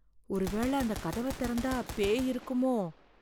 ஒருவேள அந்த கதவ திறந்தா பேய் இருக்குமோ?